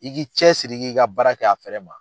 I k'i cɛ siri, i k'i ka baara kɛ a fɛrɛ ma.